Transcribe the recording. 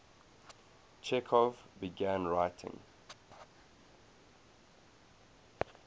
chekhov began writing